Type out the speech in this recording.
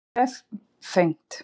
Það varð ekki vefengt.